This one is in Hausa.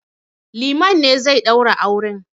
Liman ne zai ɗaura auren.